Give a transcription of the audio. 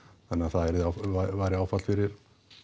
þannig að það væri áfall fyrir